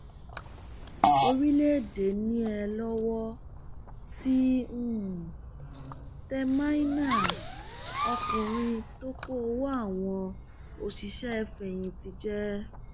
orílẹèdè níée lọwọ ti um tẹ maina ọkùnrin tó kó um owó àwọn òṣìṣẹfẹyìntì jẹ